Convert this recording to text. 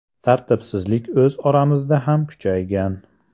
Tartibsizlik o‘z oramizda ham kuchaygan.